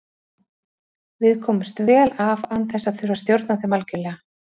Við komumst vel af án þess að þurfa að stjórna þeim algjörlega.